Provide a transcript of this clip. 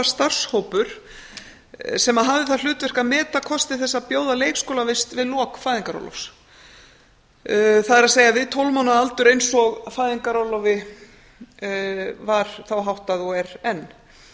starfshópur sem hafði það hlutverk að meta þá kosti þess að bjóða leikskólavist við lok fæðingarorlofs það er við tólf mánaða aldurinn eins og fæðingarorlofi var þá háttað og er enn